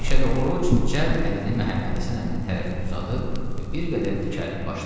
Məşədə Orruc cəld əlini Məhəmməd Həsən əminin tərəfinə uzadıb bir qədər dikəlib başladı.